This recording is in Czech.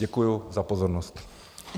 Děkuji za pozornost.